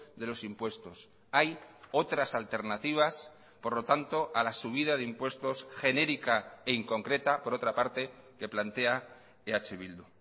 de los impuestos hay otras alternativas por lo tanto a la subida de impuestos genérica e inconcreta por otra parte que plantea eh bildu